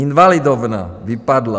Invalidovna vypadla.